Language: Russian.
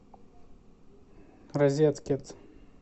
розеткид